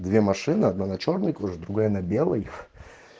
две машины одна на чёрной коже другая на белой